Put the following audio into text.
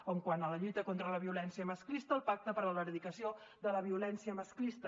quant a la lluita contra la violència masclista el pacte per a l’erradicació de la violència masclista